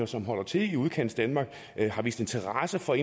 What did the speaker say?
som holder til i udkantsdanmark har vist interesse for